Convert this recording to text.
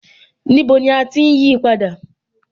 Níbo ni à ti ń yí á padà?